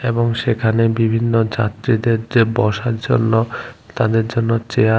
এবং সেখানে বিভিন্ন যাত্রীদের যে বসার জন্য তাদের জন্য চেয়ার --